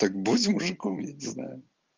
так будь мужиком я не знаю